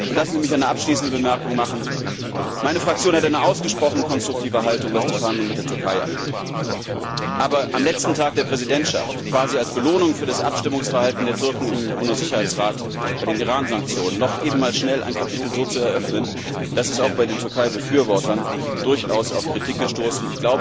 Lassen Sie mich eine abschließende Bemerkung machen Meine Fraktion hat eine ausgesprochen konstruktive Haltung, was die Verhandlungen mit der Türkei angeht, aber am letzten Tag der Präsidentschaft, quasi als Belohnung für das Abstimmungsverhalten der Türken im UNO Sicherheitsrat bei den Iransanktionen, noch eben einmal schnell ein Kapitel so zu eröffnen, das ist auch bei den Türkeibefürwortern durchaus auf Kritik gestoßen.